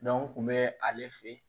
kun bɛ ale fɛ yen